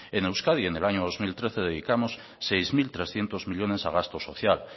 en euskadi en el año dos mil trece dedicamos seis mil trescientos millónes a gasto social